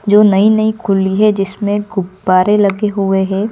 जो नई नई खुली है जिसमें गुब्बारे लगे हुए हैं।